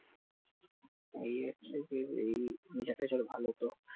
এই হচ্ছে যে এই nature টেচার ভালোতো